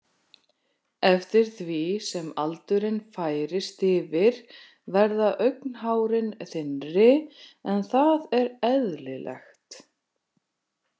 Eftir því sem aldurinn færist yfir verða augnhárin þynnri en það er eðlilegt.